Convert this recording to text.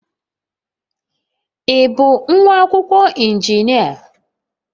Ị bụ nwa akwụkwọ injinia?